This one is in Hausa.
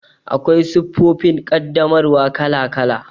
Akwai siffofin ƙaddamarwa kala kala.